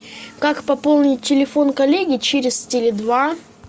как пополнить телефон коллеги через теле два